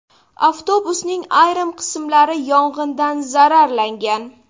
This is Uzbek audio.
Avtobusning ayrim qismlari yong‘indan zararlangan.